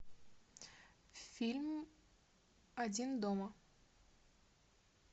фильм один дома